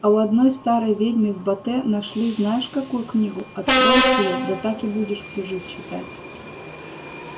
а у одной старой ведьмы в бате нашли знаешь какую книгу откроешь её да так и будешь всю жизнь читать